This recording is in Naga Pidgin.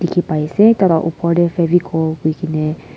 ki aise tarte upor teh fevicol koi kine.